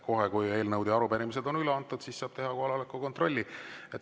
Kohe, kui eelnõud ja arupärimised on üle antud, saab teha kohaloleku kontrolli.